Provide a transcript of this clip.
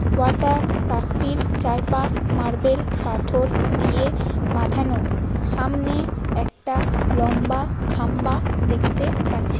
Water পার্কটির চারপাশ marble পাথর দিয়ে বাঁধানো। সামনে একটা লম্বা খাম্বা দেখতে পাচ্ছি।